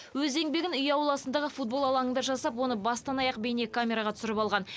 өз еңбегін үй ауласындағы футбол алаңында жасап оны бастан аяқ бейнекамераға түсіріп алған